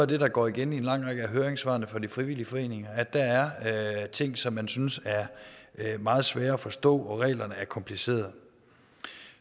det der går igen i en lang række af høringssvarene fra de frivillige foreninger at der er ting som man synes er meget svære at forstå fordi reglerne er komplicerede